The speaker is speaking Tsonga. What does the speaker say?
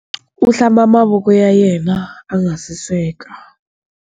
U hlamba mavoko ya yena a nga si sweka.